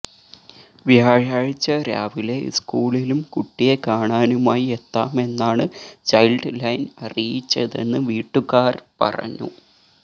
വ്യാഴാഴ്ച രാവിലെ സ്കൂളിലും കുട്ടിയെ കാണാനുമായി എത്താമെന്നാണ് ചൈല്ഡ് ലൈന് അറിയിച്ചതെന്ന് വീട്ടുകാര് പറഞ്ഞു